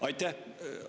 Aitäh!